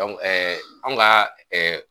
anw ka